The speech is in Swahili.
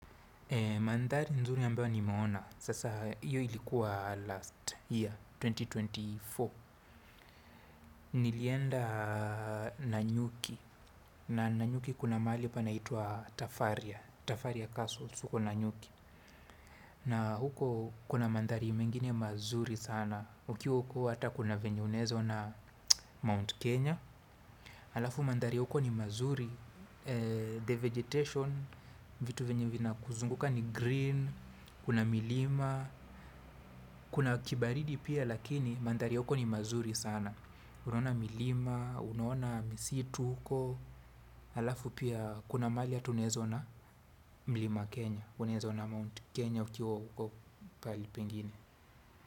Mandhari nzuri ambayo nimeona, sasa hiyo ilikuwa last year, elfu mbili na ishirini na nne. Nilienda Nanyuki, na Nanyuki kuna mahali panaitwa Tafaria, Tafaria Castle, huko Nanyuki. Na huko kuna mandhari mengine mazuri sana, ukiwa huko hata kuna venye unaezaona Mount Kenya. Alafu mandhari huko ni mazuri, the vegetation, vitu venye vinakuzunguka ni green, kuna milima, kuna kibaridi pia lakini mandhari huko ni mazuri sana. Unaona milima, unaona misitu huko, alafu pia kuna mali hata unaezaona Mlima Kenya, unaezaona Mount Kenya ukiwa huko pahali pengine.